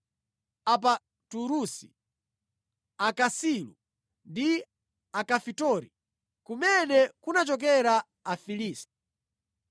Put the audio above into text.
Apaturusi, Akasilu ndi Akafitori (kumene kunachokera Afilisti).